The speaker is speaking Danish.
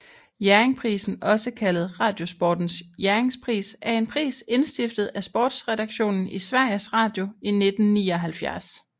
Jerringprisen også kaldet Radiosportens Jerringpris er en pris indstiftet af sportsredaktionen i Sveriges Radio i 1979